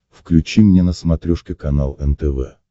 включи мне на смотрешке канал нтв